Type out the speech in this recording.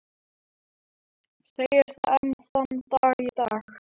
Segir það enn þann dag í dag.